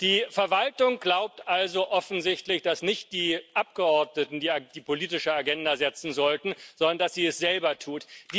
Die Verwaltung glaubt also offensichtlich, dass nicht die Abgeordneten die politische Agenda setzen sollten, sondern dass sie es selber tut.